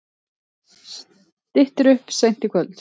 Styttir upp seint í kvöld